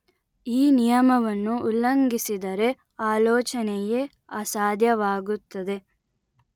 ಈ ನಿಯಮವನ್ನು ಉಲ್ಲಘಿಂಸಿದರೆ ಆಲೋಚನೆಯೇ ಅಸಾಧ್ಯವಾಗುತ್ತದೆ